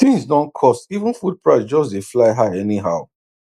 things don cost even food price just dey fly high anyhow